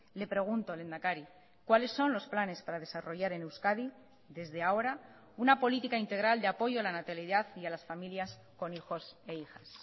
le pregunto lehendakari cuáles son los planes para desarrollar en euskadi desde ahora una política integral de apoyo a la natalidad y a las familias con hijos e hijas